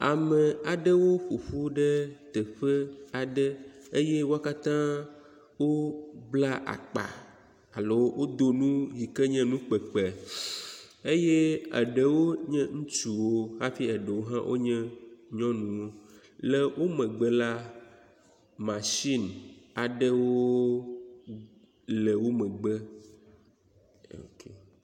Ame aɖewo ƒoƒu ɖe teƒe aɖe eye wo katã wobla akpa alo wodo nu yike nye nu kpekpe eye eɖewo nye ŋutsuwo hafi eɖewo hã nye nyɔnuwo. Le wo megbe la mashini aɖewo le wo megbe. Ok.